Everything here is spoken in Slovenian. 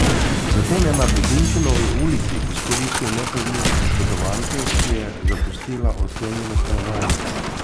Zatem je na Budičinovi ulici izkoristil nepazljivost oškodovanke, ki je zapustila odklenjeno stanovanje.